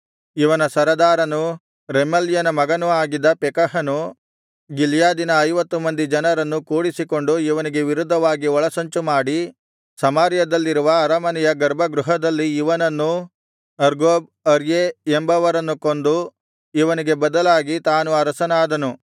ಇವನ ಸರದಾರನೂ ರೆಮಲ್ಯನ ಮಗನೂ ಆಗಿದ್ದ ಪೆಕಹನು ಗಿಲ್ಯಾದಿನ ಐವತ್ತು ಮಂದಿ ಜನರನ್ನು ಕೂಡಿಸಿಕೊಂಡು ಇವನಿಗೆ ವಿರುದ್ಧವಾಗಿ ಒಳಸಂಚು ಮಾಡಿ ಸಮಾರ್ಯದಲ್ಲಿರುವ ಅರಮನೆಯ ಗರ್ಭಗೃಹದಲ್ಲಿ ಇವನನ್ನೂ ಅರ್ಗೋಬ್ ಅರ್ಯೇ ಎಂಬವರನ್ನೂ ಕೊಂದು ಇವನಿಗೆ ಬದಲಾಗಿ ತಾನು ಅರಸನಾದನು